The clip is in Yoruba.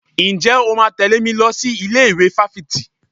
Ǹjẹ́ o máa tẹ̀lé mi lọ sí ilé ìwé fáfitì?